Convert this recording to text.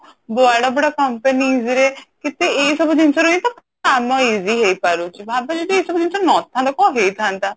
ବଡ ବଡ companies ରେ କେତେ ଏଇସବୁ ଜିନିଷ ରେ ହିଁ ତ କାମ easy ହେଇ ପାରୁଛି ଭାବ ଯଦି ଏଇସବୁବ ଜିନିଷ ନଥାନ୍ତା କଣ ହେଇଥାନ୍ତା